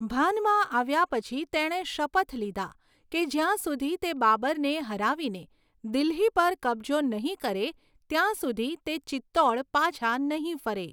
ભાનમાં આવ્યા પછી, તેણે શપથ લીધા કે જ્યાં સુધી તે બાબરને હરાવીને દિલ્હી પર કબજો નહીં કરે ત્યાં સુધી તે ચિત્તોડ પાછા નહીં ફરે.